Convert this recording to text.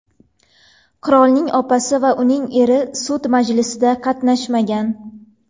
Qirolning opasi va uning eri sud majlisida qatnashmagan.